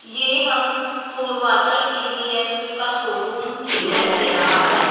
ये हम पूर्वाचल टी.वी.एस. का शोरूम दिखाई दे रहा है।